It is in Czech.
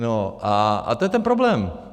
No a to je ten problém.